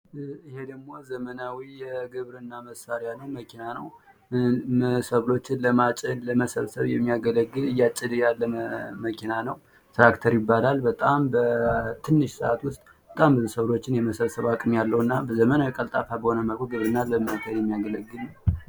ይህ ደሞ ዘመናዊ መኪና ነው ሰብሎችን ለማጨድ ለመሰብሰብ የሚያገለግል መኪና ነው ፤ ትራክተር ነው ፤ በጣም በአጭር ጊዜ ዉስጥ ብዙ ሰብሎችን የመሰብሰብ አቅም ያለው እና በዘመናዊ ቀልጣፋ በሆነ መልኩ ግብርናን ለማካሄድ የሚያገለግል ነው።